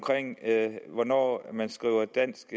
hvornår man skriver dansk